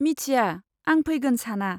मिथिया, आं फैगोन साना?